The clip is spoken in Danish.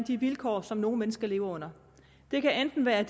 de vilkår som nogle mennesker lever under det kan enten være